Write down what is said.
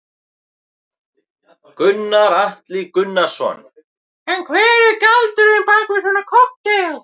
Gunnar Atli Gunnarsson: En hver er galdurinn bak við svona kokteil?